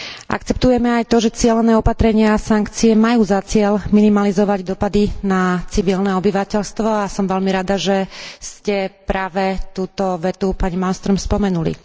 Akceptujeme aj to, že cielené opatrenia a sankcie majú za cieľ minimalizovať dosahy na civilné obyvateľstvo a som veľmi rada, že ste práve túto vetu, pani Malströmová, spomenuli.